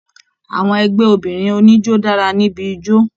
Àwọn ẹgbẹ obìnrin oníjó dara níbí ijó.